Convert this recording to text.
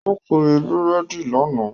Ó kiri búrèdì lánàá